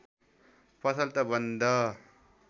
पसल त बन्द